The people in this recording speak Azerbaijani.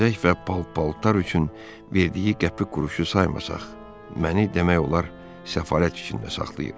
Bəzək və pal-paltar üçün verdiyi qəpik-quruşu saymasaq, məni demək olar səfalət içində saxlayır.